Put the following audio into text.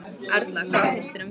Erla: Hvað finnst þér um það?